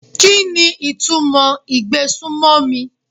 Kíni ìtumọ̀ ìgbésùmọ̀mí?